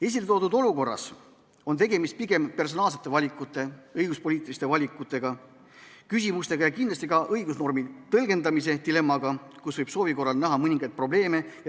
Esile toodud olukorras on tegemist pigem personaalsete valikute, õiguspoliitiliste valikute ja küsimustega ning kindlasti ka õigusnormi tõlgendamise dilemmaga, kus võib soovi korral näha mõningaid probleeme.